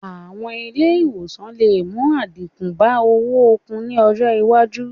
Àwọn ilé ìwòsàn lè mú àdínkù bá owó oogùn ní ọjọ́ iwájú